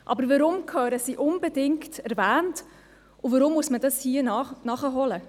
Doch warum müssen sie unbedingt erwähnt werden, und warum muss man dies hier nachholen?